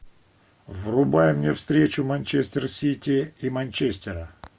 врубай мне встречу манчестер сити и манчестера